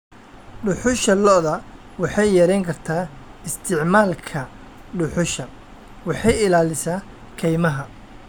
Dhuxusha lo'da waxay yarayn kartaa isticmaalka dhuxusha, waxay ilaalisaa kaymaha.